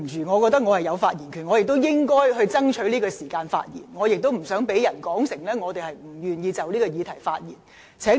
我認為我有發言權，我亦應該爭取在此刻發言，以防被他誤會我無意就此議題發言。